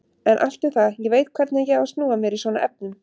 En allt um það, ég veit hvernig ég á að snúa mér í svona efnum.